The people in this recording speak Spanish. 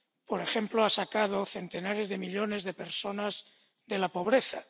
Por ejemplo, han sacado a centenares de millones de personas de la pobreza.